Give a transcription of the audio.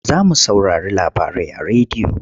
Za mu saurari labarai a rediyo.